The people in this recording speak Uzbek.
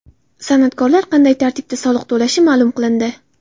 San’atkorlar qanday tartibda soliq to‘lashi ma’lum qilindi.